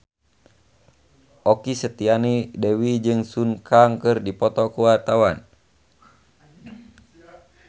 Okky Setiana Dewi jeung Sun Kang keur dipoto ku wartawan